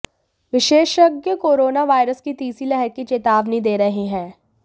विशेषज्ञ corona virus की तीसरी लहर की चेतावनी दे रहे हैं